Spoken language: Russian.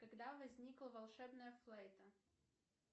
когда возникла волшебная флейта